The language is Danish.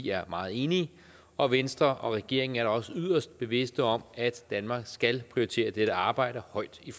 er meget enige og venstre og regeringen er da også yderst bevidste om at danmark skal prioritere det her arbejde højt i